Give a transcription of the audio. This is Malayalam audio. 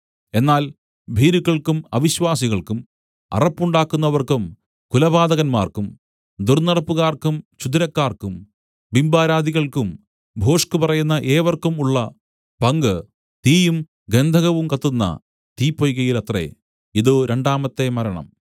എന്നാൽ ഭീരുക്കൾക്കും അവിശ്വാസികൾക്കും അറപ്പുണ്ടാക്കുന്നവർക്കും കുലപാതകന്മാർക്കും ദുർന്നടപ്പുകാർക്കും ക്ഷുദ്രക്കാർക്കും ബിംബാരാധികൾക്കും ഭോഷ്കുപറയുന്ന ഏവർക്കും ഉള്ള പങ്ക് തീയും ഗന്ധകം കത്തുന്ന തീപൊയ്കയിലത്രെ ഇതു രണ്ടാമത്തെ മരണം